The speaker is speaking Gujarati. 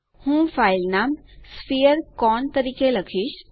હું ફાઇલ નામ sphere કોન તરીકે લખીશ